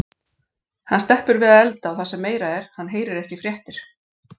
Hann sleppur við að elda og það sem meira er, hann heyrir ekki fréttir.